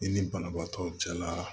I ni banabaatɔw cɛla